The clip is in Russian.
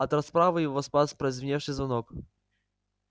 от расправы его спас прозвеневший звонок